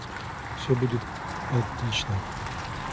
всё будет отлично